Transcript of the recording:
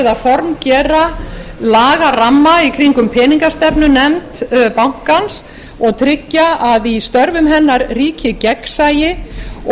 er verið að formgera lagaramma í kringum peningastefnunefnd bankans og tryggja að í störfum hennar ríki gegnsæi og